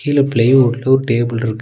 இதுல பிளேவுட் ஒரு டேபிள்ருக்கு .